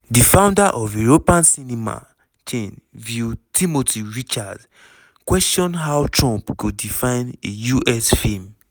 di founder of european cinema chain vue timothy richards question how trump go define a us film.